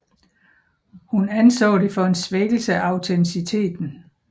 Hun anså det for en svækkelse af autenciteten